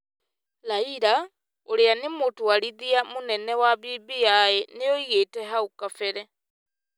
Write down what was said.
Raila, ũrĩa nĩ mũtwarithia mũnene wa BBI nĩ oigĩte hau kabere,